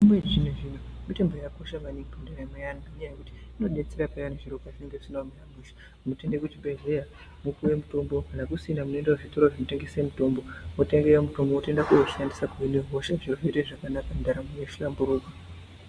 Yezvino zvino mitombo yakakosha maningi mundaramo yaantu ngenyaya yekuti inodetsera payani zviro pazvinenga zvisina kumira mushe muntu ende kuzvibhedhleya wopuwe mutombo kana kusina mwoende kuzvitoro zvinotengese mutombo wotenge mutombo wotooende koushandisa kuhine hosha zviro zvotoite zvakanaka ndaramo yohlamburika.